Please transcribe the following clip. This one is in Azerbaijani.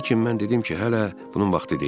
Lakin mən dedim ki, hələ bunun vaxtı deyil.